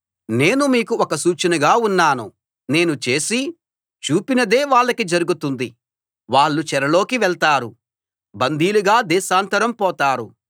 నేను మీకు ఒక సూచనగా ఉన్నాను నేను చేసి చూపినదే వాళ్ళకీ జరుగుతుంది వాళ్ళు చెరలోకి వెళ్తారు బందీలుగా దేశాంతరం పోతారు